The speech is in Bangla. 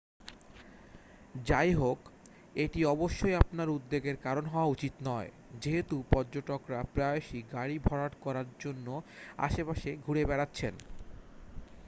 যাইহোক এটি অবশ্যই আপনার উদ্বেগের কারণ হওয়া উচিত নয় যেহেতু পর্যটকরা প্রায়শই গাড়ি ভরাট করার জন্য আশেপাশে ঘুরে বেড়াচ্ছেন